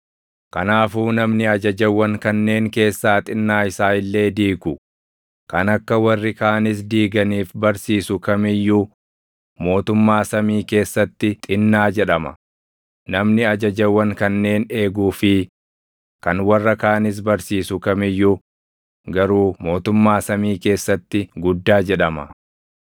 Kanaafuu namni ajajawwan kanneen keessaa xinnaa isaa illee diigu, kan akka warri kaanis diiganiif barsiisu kam iyyuu mootummaa samii keessatti xinnaa jedhama; namni ajajawwan kanneen eeguu fi kan warra kaanis barsiisu kam iyyuu garuu mootummaa samii keessatti guddaa jedhama.